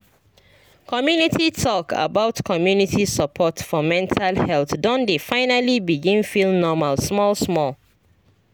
community talk about community support for mental health don dey finally begin feel normal small small